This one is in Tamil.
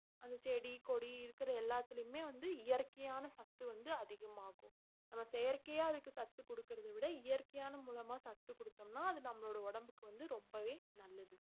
அந்தச் செடி கொடி இருக்கற எல்லாத்துலயுமே வந்து இயற்கையான சத்து வந்து அதிகமாகும் நம்ம செயற்கையா அதுக்கு சத்து கொடுக்கிறதை விட இயற்கையான மூலமா சத்து கொடுத்தோம்னா அது நம்மளோட உடம்புக்கு வந்து ரொம்பவே நல்லது